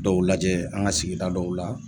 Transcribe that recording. Dɔw lajɛ an ka sigida dɔw la